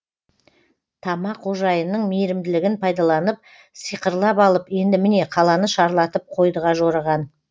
тама қожайынның мейірімділігін пайдаланып сиқырлап алып енді міне қаланы шарлатып қойдыға жорыған